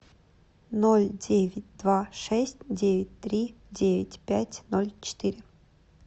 ноль девять два шесть девять три девять пять ноль четыре